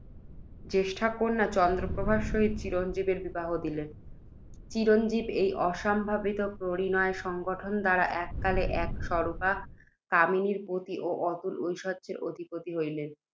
শ্রেষ্ঠীর জ্যেষ্ঠা কন্যা চন্দ্রপ্রভার সহিত চিরঞ্জীবের বিবাহ দিলেন। চিরঞ্জীব, এই অসম্ভাবিত পরিণয় সংঘটন দ্বারা, এককালে এক সুরূপা কামিনীর পতি ও অতুল ঐশ্বর্য্যের অধিপতি হইলেন।